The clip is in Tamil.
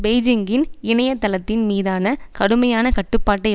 பெய்ஜிங்கின் இணைய தளத்தின் மீதான கடுமையான கட்டுப்பாட்டை